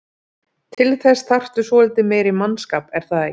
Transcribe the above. Til þess þarftu svolítið meiri mannskap er það ekki?